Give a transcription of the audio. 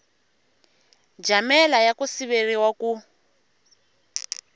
jamela ya ku siveriwa ku